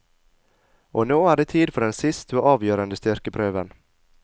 Og nå er det tid for den siste og avgjørende styrkeprøven.